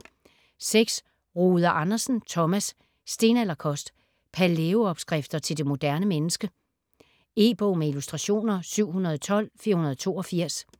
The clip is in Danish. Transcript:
Rode Andersen, Thomas: Stenalderkost: palæo-opskrifter til det moderne menneske E-bog med illustrationer 712482